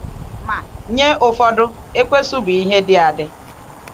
Ma, nye ụfọdụ, Ekwensu bụ ihe dị adị.